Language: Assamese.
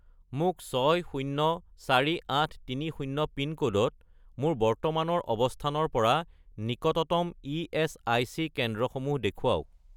মোক 604830 পিনক'ডত মোৰ বৰ্তমানৰ অৱস্থানৰ পৰা নিকটতম ইএচআইচি কেন্দ্ৰসমূহ দেখুৱাওক